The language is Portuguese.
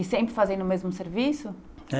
E sempre fazendo o mesmo serviço?